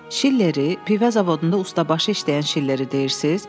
Şilleri, pivə zavodunda ustabaşı işləyən Şilleridirsiz?